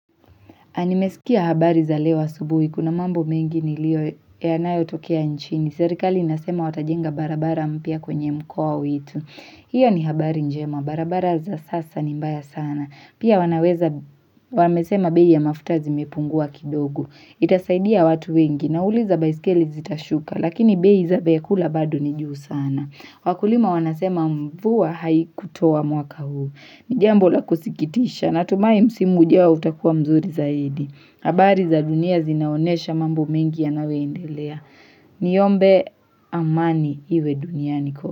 Nimesikia habari za leo asubuhi. Kuna mambo mengi nilio yanayo tokea nchini. Serikali inasema watajenga barabara mpya kwenye mkoa wetu. Hiyo ni habari njema. Barabara za sasa ni mbaya sana. Pia wanaweza wamesema bei ya mafuta zimepungua kidogo. Itasaidia watu wengi. Nauliza baiskeli zitashuka. Lakini bei za vyakula bado ni juu sana. Wakulima wanasema mvua hai kutua mwaka huu. Ni jambo la kusikitisha, natumai msimu ujao utakuwa mzuri zaidi habari za dunia zinaonyesha mambo mengi yanayo endelea Niombe amani iwe duniani kote.